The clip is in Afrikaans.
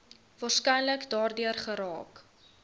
waarskynlik daardeur geraak